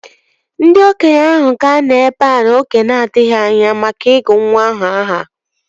Ndị okenye ahụ ga-anọ ebea oge na-adịghị anya maka ịgụ nwa aha ahụ